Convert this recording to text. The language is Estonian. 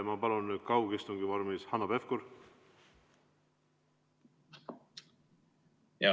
Ma palun kaugistungi vormis, Hanno Pevkur!